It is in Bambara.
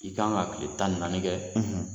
I kan ka kile tan ni naani kɛ